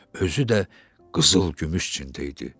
Özü də qızıl-gümüş çində idi.